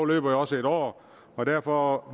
løber jo også et år og derfor